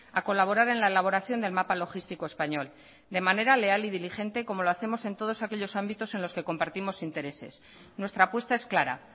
a colaborar en la elaboración del mapa logístico español de manera leal y diligente como lo hacemos en todos aquellos ámbitos en los que compartimos intereses nuestra apuesta es clara